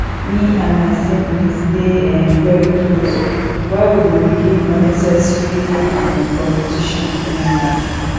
me and my siblings dey um very close why we go begin unnecessary um competition um